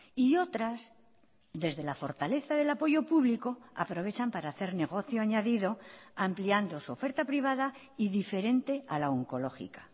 y otras desde la fortaleza del apoyo público aprovechan para hacer negocio añadido ampliando su oferta privada y diferente a la oncológica